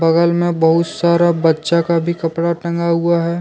बगल मे बहुत सारा बच्चा का भी कपड़ा टंगा हुआ है।